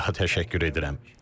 Bir daha təşəkkür edirəm.